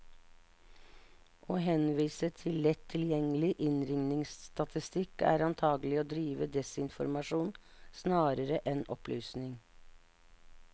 Å henvise til lett tilgjengelig innringningsstatistikk, er antagelig å drive desinformasjon snarere enn opplysning.